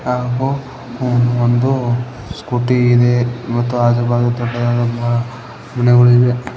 ಹಾಗೂ ಒಂದು ಸ್ಕೂಟಿ ಇದೆ ಮತ್ತು ಆಜು ಬಾಜು ದೊಡ್ಡದಾದಂತಹ ಬಿಲ್ಡಿಂಗ್ ಗುಳಿವೆ.